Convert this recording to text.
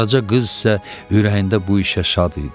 Qaraca qız isə ürəyində bu işə şad idi.